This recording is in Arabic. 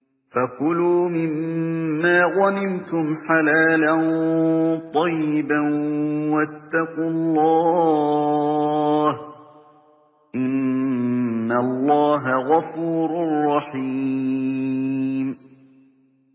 فَكُلُوا مِمَّا غَنِمْتُمْ حَلَالًا طَيِّبًا ۚ وَاتَّقُوا اللَّهَ ۚ إِنَّ اللَّهَ غَفُورٌ رَّحِيمٌ